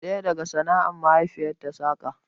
Ɗaya daga sana'ar mahaifiyarta saƙa